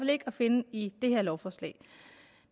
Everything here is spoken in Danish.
ikke at finde i det her lovforslag